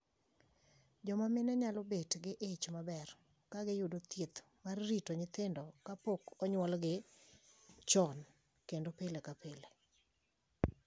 Joma mine nyalo bet gi ich maber ka giyudo thieth mar rito nyithindo ka pok onyuolgi chon kendo pile ka pile